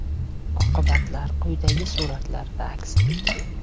Oqibatlar quyidagi suratlarda aks etgan.